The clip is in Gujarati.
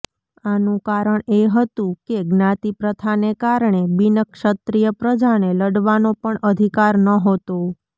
આનું કારણ એ હતું કે જ્ઞાતિપ્રથાને કારણે બિનક્ષત્રીય પ્રજાને લડવાનો પણ અધિકાર નહોતો